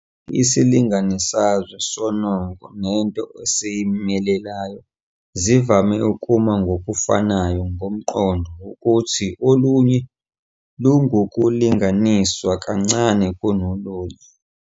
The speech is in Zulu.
Isilinganisazwe sonongo nento esiyimelelayo zivame ukuma ngokufanayo ngomqondo wokuthi olunye lungukulinganiswa kancane kolunye.